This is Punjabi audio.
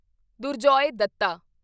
ਦੁਰਜੋਏ ਦੱਤਾ